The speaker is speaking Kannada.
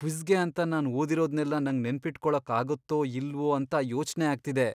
ಕ್ವಿಜ್ಗೆ ಅಂತ ನಾನ್ ಓದಿರೋದ್ನೆಲ್ಲ ನಂಗ್ ನೆನ್ಪಿಟ್ಕೊಳಕ್ಕಾಗತ್ತೋ ಇಲ್ವೋ ಅಂತ ಯೋಚ್ನೆ ಆಗ್ತಿದೆ.